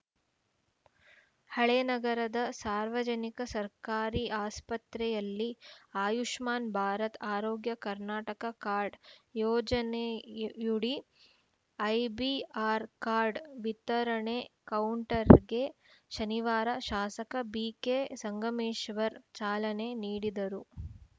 ಹಳೇನಗರದ ಸಾರ್ವಜನಿಕ ಸರ್ಕಾರಿ ಆಸ್ಪತ್ರೆಯಲ್ಲಿ ಆಯುಷ್ಮಾನ್‌ ಭಾರತ್‌ ಆರೋಗ್ಯ ಕರ್ನಾಟಕ ಕಾರ್ಡ್‌ ಯೋಜನೆಯುಡಿ ಐಬಿಆರ್ಕ್ ಕಾರ್ಡ್‌ ವಿತರಣಾ ಕೌಂಟರ್‌ಗೆ ಶನಿವಾರ ಶಾಸಕ ಬಿಕೆ ಸಂಗಮೇಶ್ವರ್‌ ಚಾಲನೆ ನೀಡಿದರು